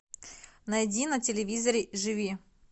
найди на телевизоре живи